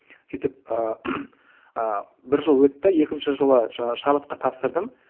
сөйтіп ыыы ы бір жыл өтті екінші жылы жаңа шабытқа тапсырдым